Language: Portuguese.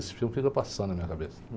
Esse filme fica passando na minha cabeça.